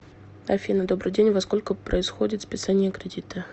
афина добрый день во сколько происходит списание кредита